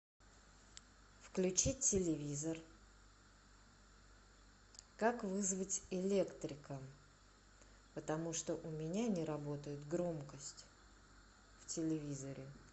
включи телевизор как вызвать электрика потому что у меня не работает громкость в телевизоре